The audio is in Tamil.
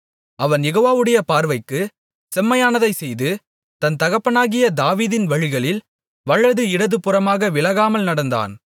அவன் யெகோவாவுடைய பார்வைக்கு செம்மையானதைச் செய்து தன் தகப்பனாகிய தாவீதின் வழிகளில் வலது இடதுபுறமாக விலகாமல் நடந்தான்